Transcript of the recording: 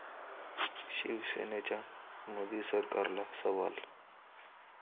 शिवसेनेचा मोदी सरकारला सवाल